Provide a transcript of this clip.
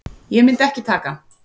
Ég myndi ekki taka hann.